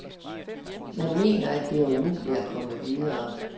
Man mener, at det er umuligt at komme videre.